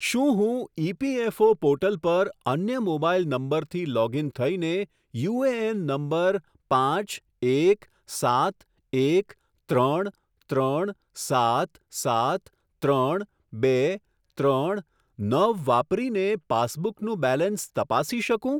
શું હું EPFO portal પર અન્ય મોબાઈલ નંબરથી લોગઇન થઈને યુએએન નંબર પાંચ એક સાત એક ત્રણ ત્રણ સાત સાત ત્રણ બે ત્રણ નવ વાપરીને પાસબુકનું બેલેન્સ તપાસી શકું?